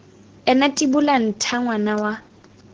ena tibola ntha ngwana wa